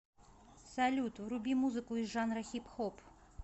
салют вруби музыку из жанра хип хоп